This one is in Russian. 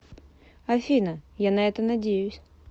афина я на это надеюсь